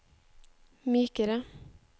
mykere